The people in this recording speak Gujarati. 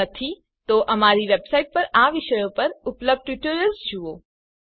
જો નહિં અમારી વેબસાઇટ 1 પર આ વિષયો પર ઉપલબ્ધ ટ્યુટોરિયલ્સ જુઓ